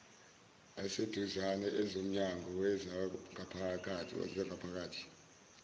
aseduzane ezomnyango wezangaphakathi